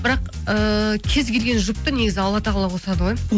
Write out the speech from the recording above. бірақ ыыы кез келген жұпты негізі алла тағала қосады ғой